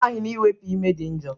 Ị maghị na iwepu ime dị njo?